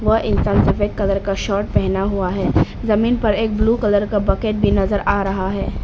वह इंसान सफेद कलर का शर्ट पहना हुआ है जमीन पर एक ब्लू कलर का बकेट भी नजर आ रहा है।